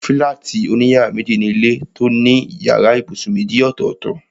Fílátì òní yàrá méjì ni ilé tó ní yàrá ibùsùn méjì ọ̀tọ̀ọ̀tọ̀